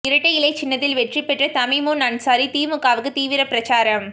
இரட்டை இலை சின்னத்தில் வெற்றி பெற்ற தமிமுன் அன்சாரி திமுகவுக்கு தீவிர பிரசாரம்